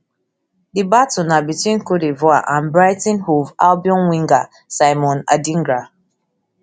di battle na between cote divoire and brighton hove albion winger simon adingra